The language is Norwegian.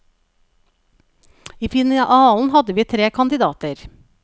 I finalen hadde vi tre kandidater.